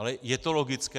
Ale je to logické?